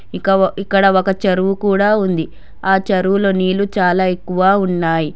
ఇక ఇక్కడ ఒక చెరువు కూడా ఉంది ఆ చెరువులో నీళ్లు చాలా ఎక్కువ ఉన్నాయి.